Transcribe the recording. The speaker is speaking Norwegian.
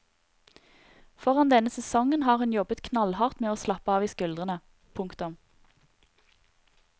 Foran denne sesongen har hun jobbet knallhardt med å slappe av i skuldrene. punktum